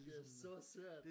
Det er så svært